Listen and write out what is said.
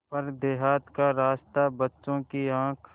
पर देहात का रास्ता बच्चों की आँख